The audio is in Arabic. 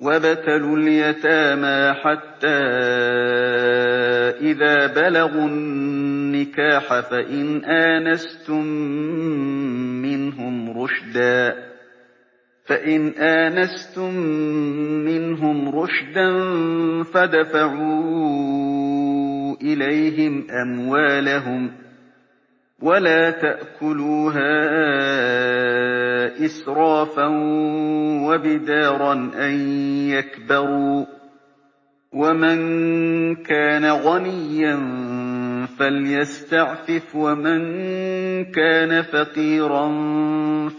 وَابْتَلُوا الْيَتَامَىٰ حَتَّىٰ إِذَا بَلَغُوا النِّكَاحَ فَإِنْ آنَسْتُم مِّنْهُمْ رُشْدًا فَادْفَعُوا إِلَيْهِمْ أَمْوَالَهُمْ ۖ وَلَا تَأْكُلُوهَا إِسْرَافًا وَبِدَارًا أَن يَكْبَرُوا ۚ وَمَن كَانَ غَنِيًّا فَلْيَسْتَعْفِفْ ۖ وَمَن كَانَ فَقِيرًا